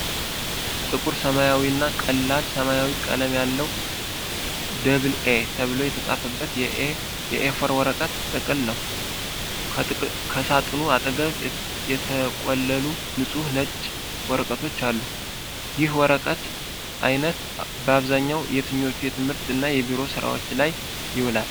ጥቁር ሰማያዊና ቀላል ሰማያዊ ቀለም ያለው "ደብል ኤ" ተብሎ የተጻፈበት የኤ4 ወረቀት ጥቅል ነው። ከሳጥኑ አጠገብ የተቆለሉ ንጹህ ነጭ ወረቀቶች አሉ። ይህ የወረቀት አይነት በአብዛኛው የትኞቹ የትምህርት እና የቢሮ ስራዎች ላይ ይውላል?